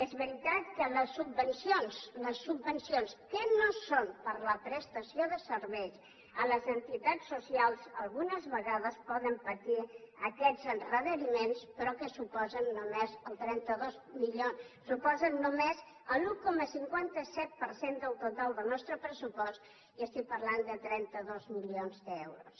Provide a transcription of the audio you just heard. és veritat que les subvencions les subvencions que no són per a la prestació de serveis a les entitats socials algunes vegades poden patir aquests endarreriments però que suposen només l’un coma cinquanta set per cent del total del nostre pressupost i estic parlant de trenta dos milions d’euros